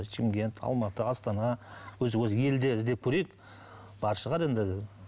шымкент алматы астана өзі өзі елде іздеп көрейік бар шығар енді